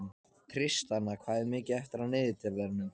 Tristana, hvað er mikið eftir af niðurteljaranum?